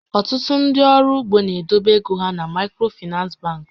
Ọtụtụ ndị ọrụ ugbo na-edobe égo hà na Maịkrofinans bankị